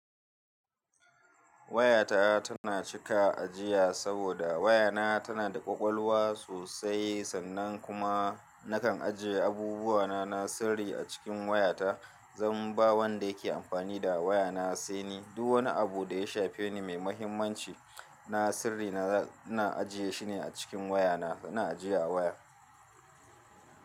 Wayata tana cika ajiya saboda wayana tana da ƙwaƙwalwa sosai sannan kuma nakan ajiye abubuwana na sirri a cikin wayata, zan ba wanda yake amfani da wayana sai ni duk wani abu da ya shafe ni mai muhimmanci na sirri na, na ajiye shi ne a cikin wayana, suna ajiye a waya.